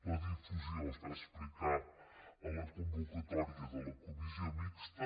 la difusió es va explicar en la convocatòria de la comissió mixta